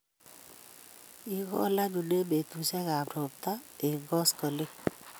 Igol anyun eng' peetuusyegap ropta eng' koskoleny.